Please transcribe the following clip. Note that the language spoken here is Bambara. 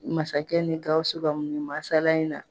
Masakɛ ni Gawusu ka nin masala in na.